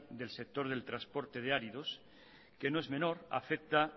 del sector del transporte de áridos que no es menor afecta